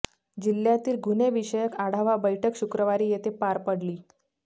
जिल्ह्यातील गुन्हेविषयक आढावा बैठक शुक्रवारी येथे पार पडली